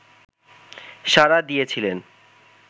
সাড়া দিয়েছিলেন